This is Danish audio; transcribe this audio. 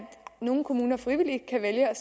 nogle kommuner frivilligt kan vælge at